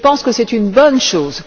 Je pense que c'est une bonne chose.